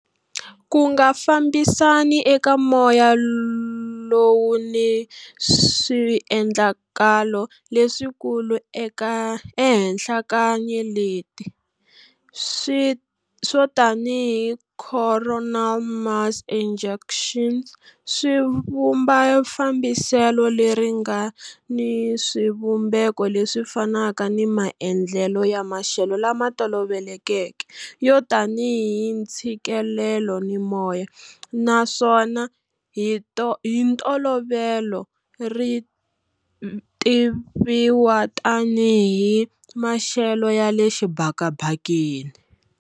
Ku nga fambisani eka moya lowu ni swiendlakalo leswikulu ehenhla ka nyeleti, swo tanihi coronal mass ejections, swi vumba fambiselo leri nga ni swivumbeko leswi fanaka ni maendlelo ya maxelo lama tolovelekeke, yo tanihi ntshikelelo ni moya, naswona hi ntolovelo ri tiviwa tanihi maxelo ya le xibakabakeni.